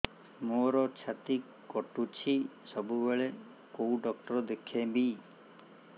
ମୋର ଛାତି କଟୁଛି ସବୁବେଳେ କୋଉ ଡକ୍ଟର ଦେଖେବି